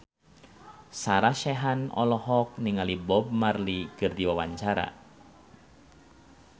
Sarah Sechan olohok ningali Bob Marley keur diwawancara